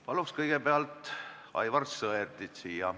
Paluks siia kõigepealt Aivar Sõerdi!